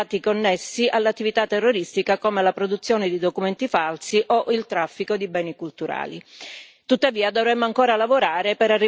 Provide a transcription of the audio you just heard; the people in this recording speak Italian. Penso alla confisca o alla punibilità di alcuni reati connessi all'attività terroristica come la produzione di documenti falsi o il traffico di beni culturali.